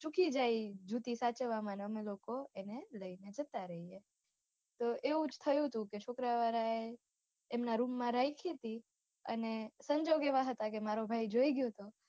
ચુકી જાય જુતી સાચવવામાં અને અમે લોકો એને લઈને જતા રહીએ તો એવું જ થયું હતું કે છોકરાં વાળા એ એમનાં રૂમમાં રાઇખી હતી અને સંજોગ એવાં હતાં કે મારો ભાઈ જોઈ ગયો હતો